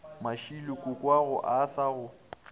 mashilo kokoago a sa go